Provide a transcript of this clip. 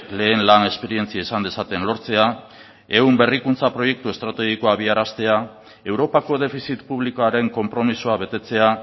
lehen lan esperientzia izan dezaten lortzea ehun berrikuntza proiektu estrategiko abiaraztea europako defizit publikoaren konpromisoa betetzea